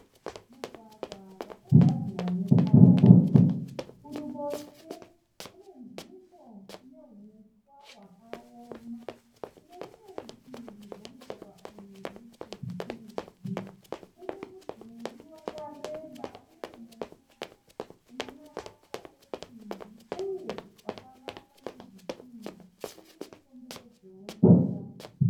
Mugwagwa wakagadzirwa netara. Kuruboshwe kune nzvimbo ine huswa hwakaoma. Kunerumwe rutivi rwemugwagwa uyu nechekurudyi kune mudhuri wakareba uye mukuru una marata esimbi uye vakavakwa nezvitinha uye nemukomberedzo.